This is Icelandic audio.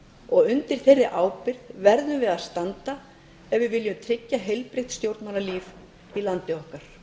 og undir þeirri ábyrgð verðum við að standa ef við viljum tryggja heilbrigt stjórnmálalíf í landi okkar